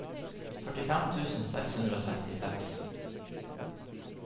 førtifem tusen seks hundre og sekstiseks